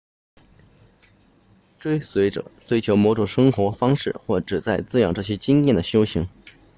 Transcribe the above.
追随者追求某种生活方式或旨在滋养这些经验的修行